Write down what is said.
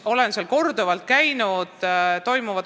Olen seal korduvalt käinud.